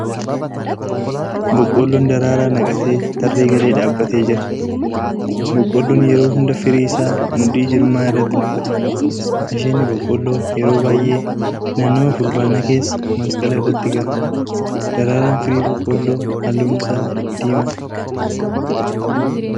Boqoolloon daraaraa naqate tarree galee dhaabbatee jira. Boqqoolloon yeroo hunda firii isaa mudhii jirmaa irratti naqata. Asheetni boqqoolloo yeroo baay'ee naannawaa fulbaanaa keessa masqala irratti ga'a. Daraaraan firii boqqoolloo halluun isaa diimaadha.